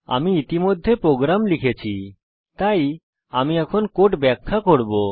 আমি ইতিমধ্যে প্রোগ্রাম লিখেছি তাই আমি কোড ব্যাখ্যা করব